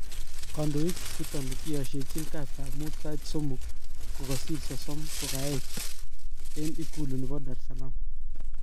Kondoik chuton kiyoshechin kastab mut sait somok kosir sosom kokayech eng ikulu nebo Daresalam